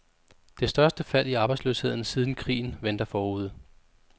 Det største fald i arbejdsløsheden siden krigen venter forude.